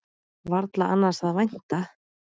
Varla annars að vænta.